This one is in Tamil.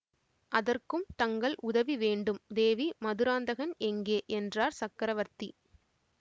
அதற்கும் தங்கள் உதவி வேண்டும் தேவி மதுராந்தகன் எங்கே என்றார் சக்கரவர்த்தி